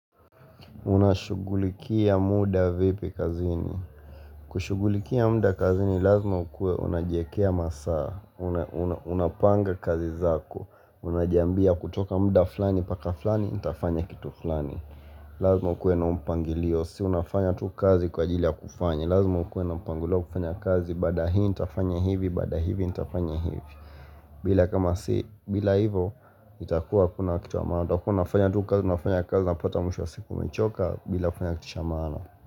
Unashugulikia muda vipi kazini. Kushugulikia muda kazini lazima ukuwe unajiekea masaa. Unapanga kazi zako. Unajiambia kutoka muda fulani mpaka flani ntafanya kitu fulani. Lazma ukuwe na huu mpangilio. Si unafanya tu kazi kwa ajili ya kufanya. Lazima ukuwe na mpangilio kufanya kazi. Baada ya hii nitafanya hivi. Baada ya hivi nitafanya hivi. Bila kama si bila hivo itakuwa hakuna kitu ya maana. Utakuwa unafanya tu kazi. Unafanya kazi unapata mwisho wa siku umechoka bila kufanya kitu cha maana.